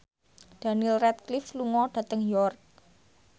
Daniel Radcliffe lunga dhateng York